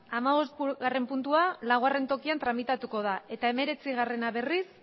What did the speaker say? hamabostgarrena puntua laugarrena tokian tramitatuko da eta hemeretzia berriz